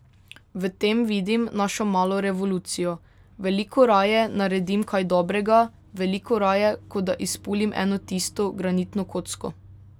V tem vidim našo malo revolucijo, veliko raje naredim kaj dobrega, veliko raje, kot da izpulim eno tisto granitno kocko ...